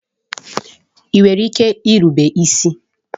Ị nwere ike irubere m isi?